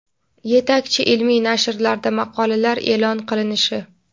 yetakchi ilmiy nashrlarda maqolalar e’lon qilinishi;.